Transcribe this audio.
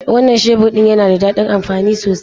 Wannan shebur din yana da dadin amfani sosai.